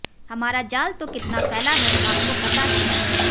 हमारा जाल तो कितना फैला है आपको पता ही है